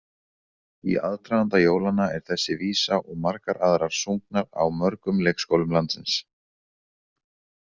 Í aðdraganda jólanna er þessi vísa og margar aðrar sungnar á mörgum leikskólum landsins.